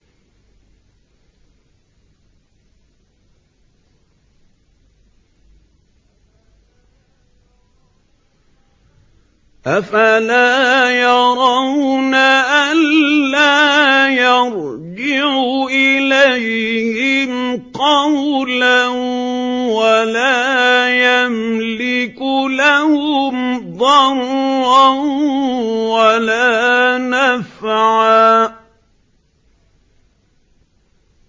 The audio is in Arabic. أَفَلَا يَرَوْنَ أَلَّا يَرْجِعُ إِلَيْهِمْ قَوْلًا وَلَا يَمْلِكُ لَهُمْ ضَرًّا وَلَا نَفْعًا